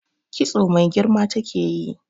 Kitso mai girma take yi.